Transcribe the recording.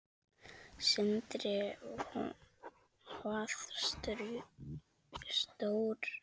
Sindri: Hvað stóran?